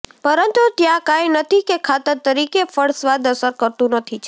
પરંતુ ત્યાં કાંઈ નથી કે ખાતર તરીકે ફળ સ્વાદ અસર કરતું નથી છે